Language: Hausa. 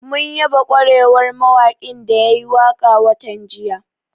Mun yaba ƙwarewar mawaƙin da ya yi waƙa watan jiya